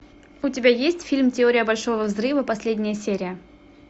у тебя есть фильм теория большого взрыва последняя серия